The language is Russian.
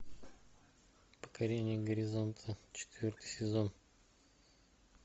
покорение горизонта четвертый сезон